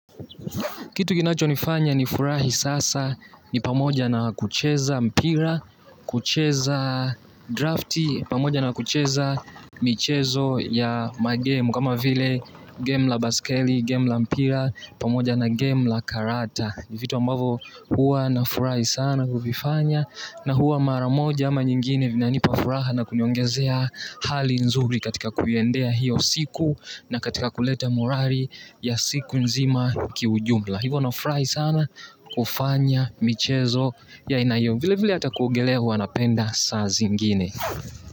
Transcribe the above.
Kitu kinachonifanya nifurahi sasa ni pamoja na kucheza mpira, kucheza drafti, pamoja na kucheza michezo ya magemu, kama vile game la baskeli, game la mpira, pamoja na game la karata. Ni vitu ambavo huwa nafurahi sana kuvifanya na huwa mara moja ama nyingine vinanipa furaha na kuniongezea hali nzuri katika kuiendea hiyo siku na katika kuleta murari ya siku nzima kiujumla. Hivo nafurahi sana kufanya michezo ya aina hiyo vile vile hata kuogelea hua napenda saa zingine.